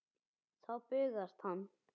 Þá bugast hann.